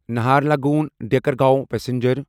نہرلگون دیکرگاوں پسنجر